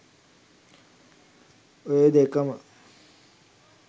ඔය දෙකම